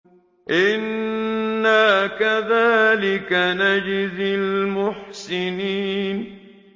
إِنَّا كَذَٰلِكَ نَجْزِي الْمُحْسِنِينَ